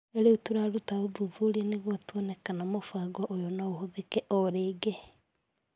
"Rĩu tũraruta ũthuthuria nĩguo tuone kana mũbango ũyũ no ũhũthĩke", oigire.